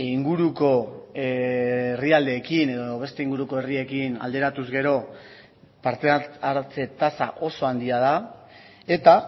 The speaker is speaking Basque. inguruko herrialdeekin edo beste inguruko herriekin alderatuz gero parte hartze tasa oso handia da eta